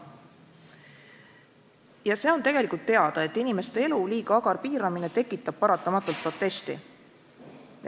Ja see on tegelikult teada, et inimeste elu liiga agar piiramine tekitab paratamatult protesti.